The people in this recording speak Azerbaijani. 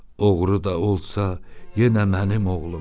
Oğru da olsa, yenə mənim oğlumdur.